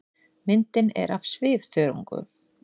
Myndin er af svifþörungum.